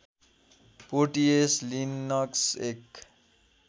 Porteus Linux एक